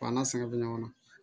an na sɛgɛn bɛ ɲɔgɔn na